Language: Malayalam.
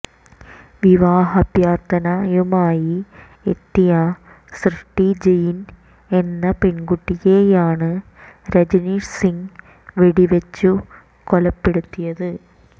വിവാഹാഭ്യർഥനയുമായി എത്തിയ സൃഷ്ടി ജെയിൻ എന്ന പെൺകുട്ടിയെയാണ് രജനീഷ് സിങ് വെടിവച്ചു കൊലപ്പെടുത്ത്ിയത്